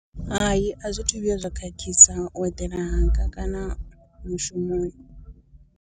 Hai a zwithu vhuya zwa khakhisa u eḓela hanga kana mushumoni.